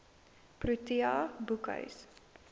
protea boekhuis